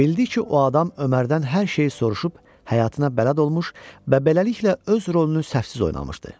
Bildik ki, o adam Ömərdən hər şeyi soruşub, həyatına bələd olmuş və beləliklə öz rolunu səhvsiz oynamışdı.